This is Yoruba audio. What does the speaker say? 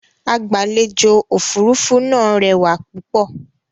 Agbàlèjò-òfurufú náà rẹwà púpọ̀.